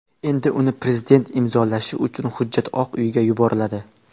Endi uni prezident imzolashi uchun hujjat Oq uyga yuboriladi.